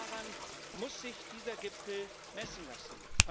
Genau daran muss sich dieser Gipfel messen lassen.